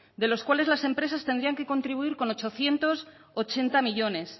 de los cuales las empresas tendrían que contribuir con ochocientos ochenta millónes